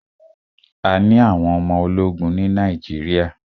A ní àwọn ọmọ ológun ní Nàíjíríà.